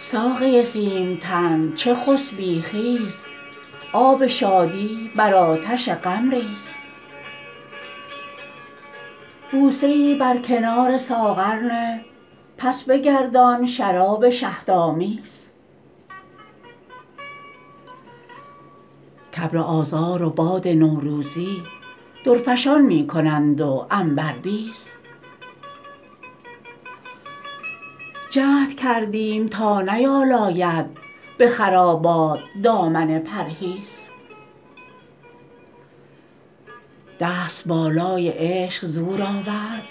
ساقی سیم تن چه خسبی خیز آب شادی بر آتش غم ریز بوسه ای بر کنار ساغر نه پس بگردان شراب شهدآمیز کابر آذار و باد نوروزی درفشان می کنند و عنبربیز جهد کردیم تا نیالاید به خرابات دامن پرهیز دست بالای عشق زور آورد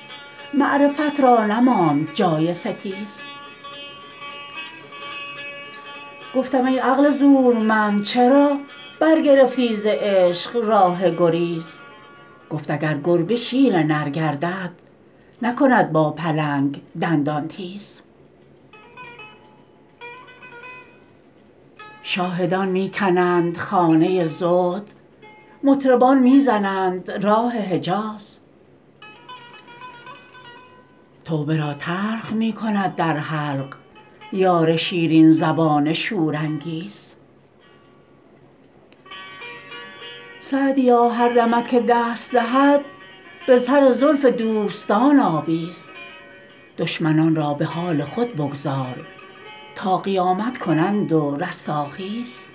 معرفت را نماند جای ستیز گفتم ای عقل زورمند چرا برگرفتی ز عشق راه گریز گفت اگر گربه شیر نر گردد نکند با پلنگ دندان تیز شاهدان می کنند خانه زهد مطربان می زنند راه حجیز توبه را تلخ می کند در حلق یار شیرین زبان شورانگیز سعدیا هر دمت که دست دهد به سر زلف دوستان آویز دشمنان را به حال خود بگذار تا قیامت کنند و رستاخیز